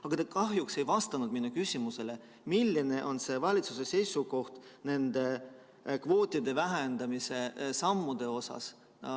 Aga te kahjuks ei vastanud minu küsimusele, milline on valitsuse seisukoht nende kvootide vähendamise sammude kohta.